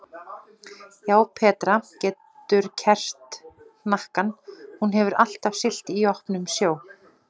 Já, Petra getur kerrt hnakkann, hún hefur alltaf siglt í opnum sjó.